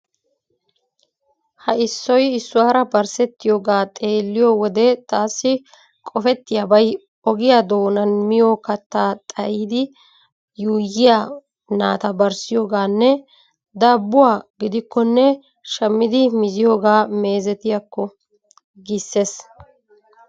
Ha issoy issuwara barssettiyogaa xeelliyo wode taassi qofettiyabay ogiya doonan miyo kattaa xayidi yuuyyiya naata barssiyogaanne daabbuwa gidikkonne shammidi miziyogaa meezetiyakko giissees.